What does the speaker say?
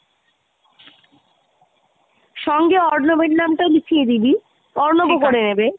সঙ্গে অর্ণব এর নামটাও লিখিয়ে দিবি অর্ণবও করিয়ে নেবে